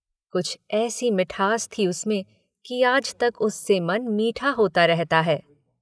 कुछ ऐसी मिठास थी उसमें कि आज तक उससे मन मीठा होता रहता है।